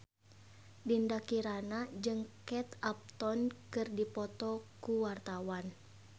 Dinda Kirana jeung Kate Upton keur dipoto ku wartawan